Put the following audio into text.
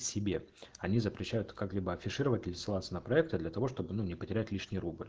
себе они запрещают как-либо афишировать или ссылаться на проекты для того чтобы ну не потерять лишний рубль